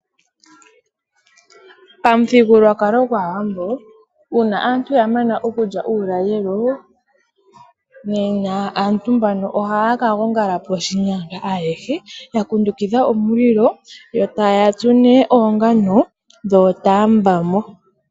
Pamuthigululwakalo gwaawambo uuna aantu yamana okulya uulalelo nena aantu mbano ohaya ka gongala poshinyanga ayehe yakunkukidha omulilo yo taya tsu nee oongano dhootambamo.